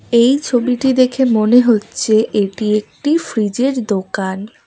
এই ছবিটি দেখে মনে হচ্ছে এটি একটি ফ্রিজ -এর দোকান।